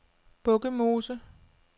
Bukkemose